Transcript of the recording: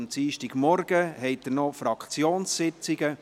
Am Dienstagmorgen haben Sie noch die Fraktionssitzungen.